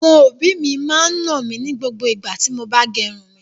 Àwọn òbí máa ń nà mí ní gbogbo igbá tí mo bá gẹrun mi.